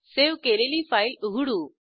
save केलेली file उघडू